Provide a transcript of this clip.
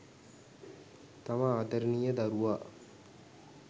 තම ආදරණීය දරුවා